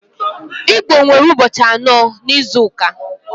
Igbo nwere ụbọchị anọ n'izuka.